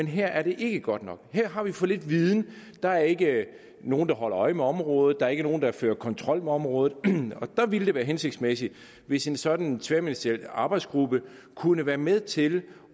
her er det ikke godt nok her har vi for lidt viden der er ikke nogen der holder øje med området og der er ikke nogen der fører kontrol med området der ville det være hensigtsmæssigt hvis en sådan tværministeriel arbejdsgruppe kunne være med til